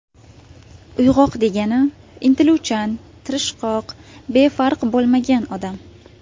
Uyg‘oq degani intiluvchan, tirishqoq, befarq bo‘lmagan odam.